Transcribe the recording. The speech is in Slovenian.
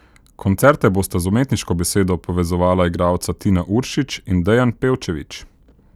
Koncerte bosta z umetniško besedo povezovala igralca Tina Uršič in Dejan Pevčević.